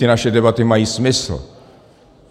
Ty naše debaty mají smysl.